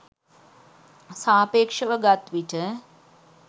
සාපේක්ෂව ගත් විට